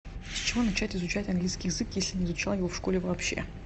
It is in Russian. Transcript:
с чего начать изучать английский язык если не изучал его в школе вообще